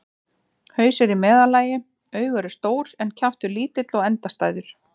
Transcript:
Haus er í meðallagi, augu eru stór en kjaftur lítill og endastæður.